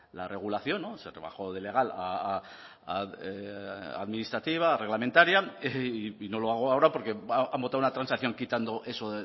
la regulación se rebajó de legal a administrativa a reglamentaria y no lo hago ahora porque han votado una transacción quitando eso